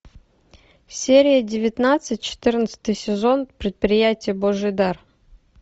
серия девятнадцать четырнадцатый сезон предприятие божий дар